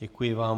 Děkuji vám.